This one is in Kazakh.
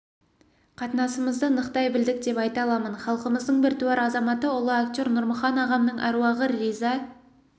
қатынасымызды нықтай білдік деп айта аламын халқымыздың біртуар азаматы ұлы актер нұрмұхан ағамның әруағы риза